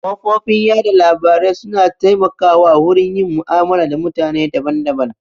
Kafofin yaɗa labarai su na taimaka wa wurin yin mu'amala da mutane daban daban